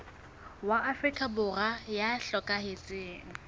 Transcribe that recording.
wa afrika borwa ya hlokahetseng